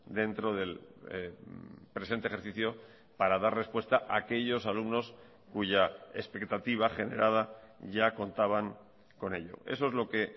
dentro del presente ejercicio para dar respuesta a aquellos alumnos cuya expectativa generada ya contaban con ello eso es lo que